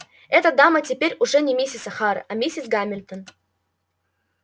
эта дама теперь уже не мисс охара а миссис гамильтон